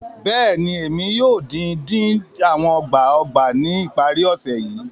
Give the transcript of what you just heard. Bẹẹni, Emi yoo din-din awọn ọgbà-ọgbà ni ipari-ọsẹ yii